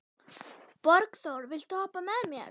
Borgþór, viltu hoppa með mér?